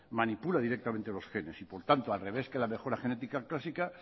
manipula directamente los genes y por tanto al revés que la mejora genética clásica